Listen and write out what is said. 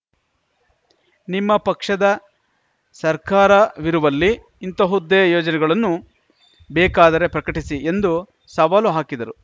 ನಿಮ್ಮ ಪಕ್ಷದ ಸರ್ಕಾರವಿರುವಲ್ಲಿ ಇಂತಹುದ್ದೇ ಯೋಜನೆಗಳನ್ನು ಬೇಕಾದರೆ ಪ್ರಕಟಿಸಿ ಎಂದು ಸವಾಲು ಹಾಕಿದರು